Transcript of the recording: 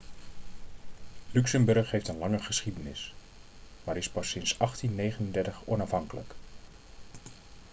luxemburg heeft een lange geschiedenis maar is pas sinds 1839 onafhankelijk